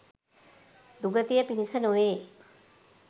දුගතිය පිණිස නොවේ